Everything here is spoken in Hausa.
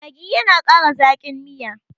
maggi yana Kara Zaki. Miya